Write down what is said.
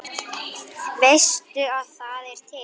Veistu að það er til?